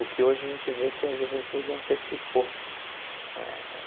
O que hoje a gente vê que a juventude antecipou eh.